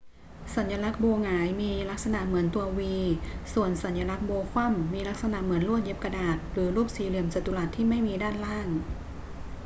สัญลักษณ์ โบหงาย มีลักษณะเหมือนตัว v ส่วน สัญลักษณ์โบว์คว่ำ มีลักษณะเหมือนลวดเย็บกระดาษหรือรูปสี่เหลี่ยมจัตุรัสที่ไม่มีด้านล่าง